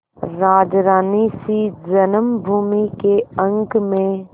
राजरानीसी जन्मभूमि के अंक में